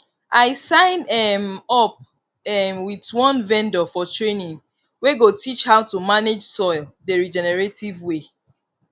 i sign um up um with one vendor for training wey go teach how to manage soil the regenerative way